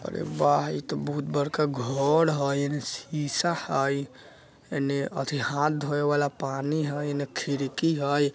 अरे वाह इ ते बहुत बड़का घर हय इने शीशा हय इने अथी हाथ धोये वाला पानी हय इने खिड़की हय।